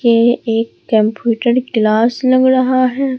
ये एक computer class लग रहा है।